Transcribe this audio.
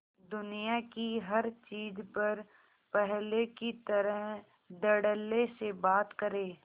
दुनिया की हर चीज पर पहले की तरह धडल्ले से बात करे